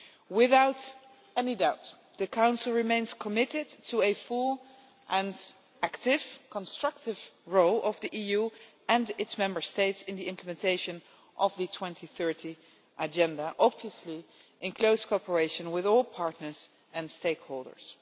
Without any doubt, the Council remains committed to a full and active, constructive role of the EU and its Member States in the implementation of the 2030 Agenda, obviously in close cooperation with all partners and stakeholders.